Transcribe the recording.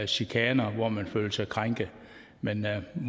chikaner hvor man føler sig krænket men